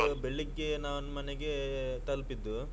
ಬೆಳಿಗ್ಗೆ ನಾನ್ ಮನೆಗೆ ತಲುಪಿದ್ದು.